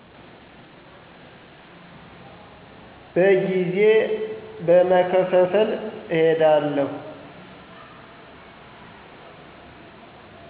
በጊዜ በመከፍፍል አካሄዳለሁ።